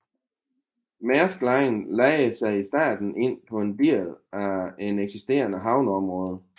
Maersk Line lejede sig i starten ind på en del af et eksisterende havneområde